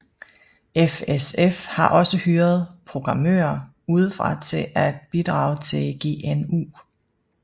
FSF har også hyret programmører udefra til at bidrage til GNU